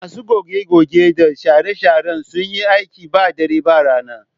Masu goge-goge da share-sharen sun yi aiki ba dare ba rana